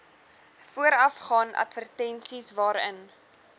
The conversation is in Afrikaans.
voorafgaan advertensies waarin